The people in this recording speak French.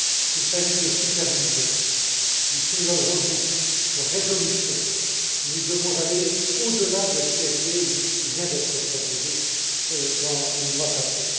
Qu'il s'agisse de supervision, du single rule book de résolution, nous devons aller au delà de ce qui a été ou de ce qui vient d'être proposé dans les mois passés.